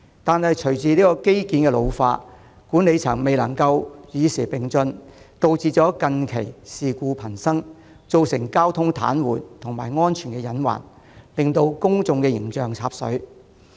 然而，隨着機件老化，管理層又未能與時並進，導致近期事故頻生，造成交通癱瘓和安全隱患，令公眾形象"插水"。